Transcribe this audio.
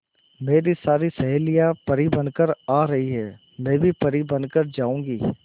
मेरी सारी सहेलियां परी बनकर आ रही है मैं भी परी बन कर जाऊंगी